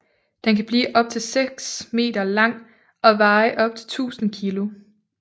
Den kan blive op til 6 m lang og veje op til 1000 kg